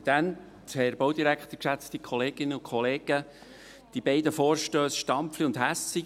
Die beiden Vorstösse Stampfli und Hässig unterstützen wir von der SP-Fraktion.